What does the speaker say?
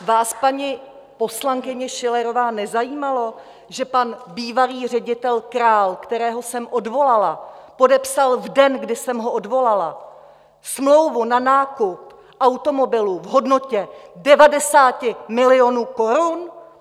Vás, paní poslankyně Schillerová, nezajímalo, že pan bývalý ředitel Král, kterého jsem odvolala, podepsal v den, kdy jsem ho odvolala, smlouvu na nákup automobilů v hodnotě 90 milionů korun?